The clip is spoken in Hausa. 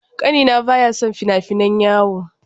Ƙanina baya son fina-finan yawo.